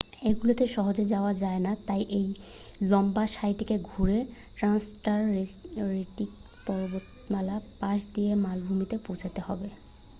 এগুলিতে সহজে যাওয়া যায় না তাই এই লম্বা সারিটিকে ঘুরে ট্রান্সান্টারেক্টিক পর্বতমালার পাশ দিয়ে মালভূমিতে পৌঁছতে হবে